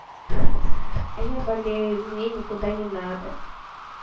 а я болею мне никуда не надо